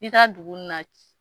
I ka dugu na